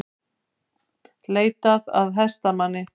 Leitað að hestamanni